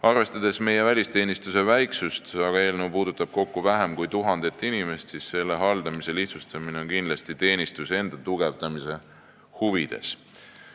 Arvestades meie välisteenistuse väiksust – eelnõu puudutab kokku vähem kui tuhandet inimest –, on selle haldamise lihtsustamine kindlasti teenistuse enda tugevdamise huvides.